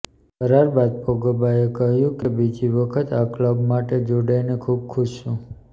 કરાર બાદ પોગ્બાએ કહ્યું કે બીજી વખત આ ક્લબ માટે જોડાઇને ખુબ ખુશ છું